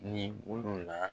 Ni olu la